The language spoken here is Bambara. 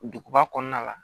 Duguba kɔnɔna la